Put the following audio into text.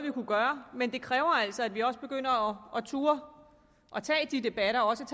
men det kræver altså at vi også begynder at turde tage de debatter og også